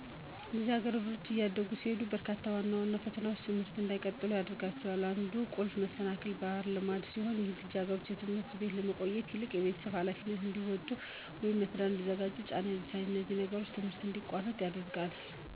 ልጃገረዶች እያደጉ ሲሄዱ በርካታ ዋና ዋና ፈተናዎች ትምህርታቸውን እንዳይቀጥሉ ያግዳቸዋል። አንዱ ቁልፍ መሰናክል ባህላዊ ልማድ ሲሆን ይህም ልጃገረዶች በትምህርት ቤት ከመቆየት ይልቅ የቤተሰብ ኃላፊነታቸውን እንዲወጡ ወይም ለትዳር እንዲዘጋጁ ጫና ይደርስባቸዋል። እነዚህም ነገሮች ትምህርታቸውን እንዲያቋርጡ ያስገድዷቸዋል። ባህላዊ ልማዶች ከትምህርት ይልቅ የቤት ውስጥ ሚናዎችን ያስቀድማሉ፣ ልጃገረዶች ቤተሰብን እንዲያስተዳድሩ ወይም ታናናሻቸውን እንዲንከባከቡ ያስገዳቸዋል። እንደዚህ አይነት ነገሮች ከሃብት፣ ከደህንነት ስጋት፣ ወይም ከድጋፍ እጦት ጋር ተዳምረው ብዙ ልጃገረዶች ትምህርታቸውን እንዳይጨርሱ መሰናክል ይሆንባቸዋል።